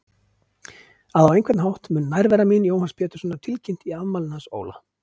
. að á einhvern hátt mun nærvera mín Jóhanns Péturssonar tilkynnt í afmælinu hans Óla.